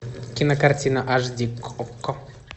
кинокартина аш ди окко